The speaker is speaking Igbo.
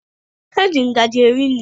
Eji ngazi eri nri.